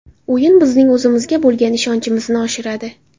O‘yin bizning o‘zimizga bo‘lgan ishonchimizni oshiradi.